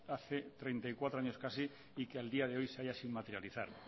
hace treinta y cuatro años casi y que al día de hoy se haya sin materializar